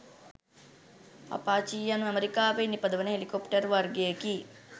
Apache යනු ඇමෙරිකාවේ නිපදවන හෙලිකොප්ටර් වර්ගයෙකි.